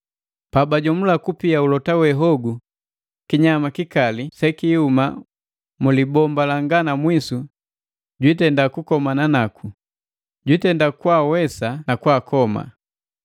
Pabajomula kupia ulota we hogu, kinyama kikali sesihuma mu libomba langa na mwisu jitenda kukomana naku, jitenda kaawesa na kakoma.